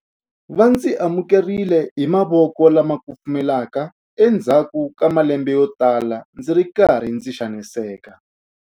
Va ndzi amukerile hi mavoko lama kufumelaka endzhaku ka malembe yotala ndzi ri karhi ndzi xaniseka.